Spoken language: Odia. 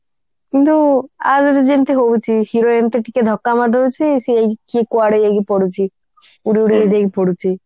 କିନ୍ତୁ ଆଗରୁ ଯେମିତି ହଉଛି hero ଏମିତି ଟିକେ ଧକା ମାରିଦଉଛି ସିଏ କିଏ କୁଆଡେ ଯାଇକି ପଡୁଛି ଉଡିଉଡି ଉଡିକି ପଡୁଛି